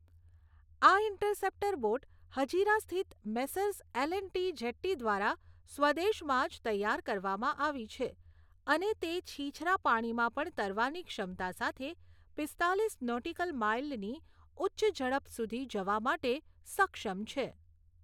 આ interceptor boat Hazira સ્થિત Messrs L and T jetty દ્વારા સ્વદેશમાં જ તૈયાર કરવામાં આવી છે અને તે છીછરા પાણીમાં પણ તરવાની ક્ષમતા સાથે પીસ્તાલીસ નોટિકલ માઇલની ઉચ્ચ ઝડપ સુધી જવા માટે સક્ષમ છે.